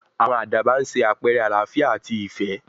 àwọn àdàbà ń sé àpẹrẹ àlááfíà àti ìfẹ́